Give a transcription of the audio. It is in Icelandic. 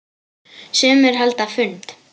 Sumir halda fund.